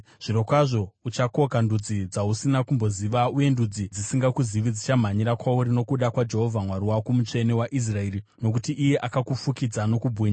Zvirokwazvo uchakoka ndudzi dzausina kumboziva, uye ndudzi dzisingakuzive dzichamhanyira kwauri, nokuda kwaJehovha Mwari wako, Mutsvene waIsraeri, nokuti iye akakufukidza nokubwinya.”